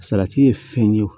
Salati ye fɛn ye o